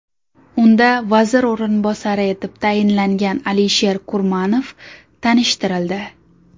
Unda vazir o‘rinbosari etib tayinlangan Alisher Kurmanov tanishtirildi.